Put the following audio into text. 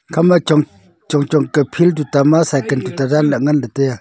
ekhama chong chong ka field tuta ma cycle tuata danlah ngan lahley taiya.